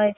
ਹੋਏ